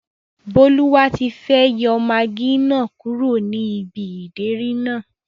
Bólúwatifẹ́ yọ magí náà kúrò ní ibi ìdérí náà